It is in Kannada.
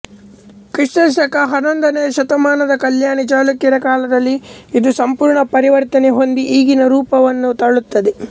ಕ್ರಿ ಶ ಹನ್ನೊಂದನೆಯ ಶತಮಾನದ ಕಲ್ಯಾಣಿ ಚಾಳುಕ್ಯರ ಕಾಲದಲ್ಲಿ ಇದು ಸಂಪೂರ್ಣ ಪರಿವರ್ತನೆ ಹೊಂದಿ ಈಗಿನ ರೂಪವನ್ನು ತಾಳುತ್ತದೆ